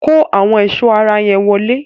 Kó àwọn ẹ̀sọ́ ara yẹn wọlé!